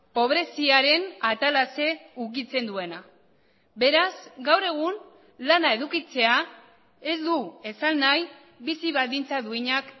pobreziaren atalase ukitzen duena beraz gaur egun lana edukitzea ez du esan nahi bizi baldintza duinak